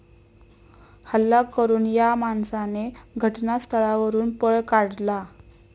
हल्ला करून या माणसाने घटनास्थळावरून पळ काढला.